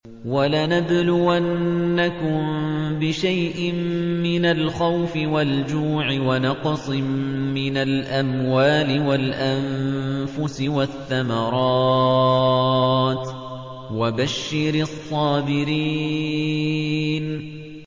وَلَنَبْلُوَنَّكُم بِشَيْءٍ مِّنَ الْخَوْفِ وَالْجُوعِ وَنَقْصٍ مِّنَ الْأَمْوَالِ وَالْأَنفُسِ وَالثَّمَرَاتِ ۗ وَبَشِّرِ الصَّابِرِينَ